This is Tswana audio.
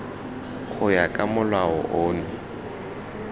go ya ka molao ono